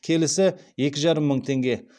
келісі екі жарым мың теңге